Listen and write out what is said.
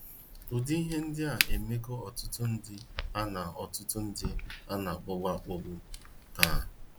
Ụdị ihe ndịa emego ọtụtụ ndị ana ọtụtụ ndị ana - akpagbu akpagbu taa.